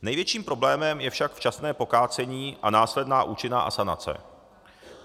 Největším problémem je však včasné pokácení a následná účinná asanace.